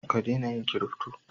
Ka dena yin kirifto